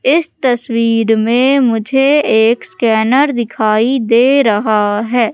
इस तस्वीर में मुझे एक स्कैनर दिखाई दे रहा है।